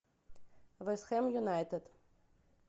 вест хэм юнайтед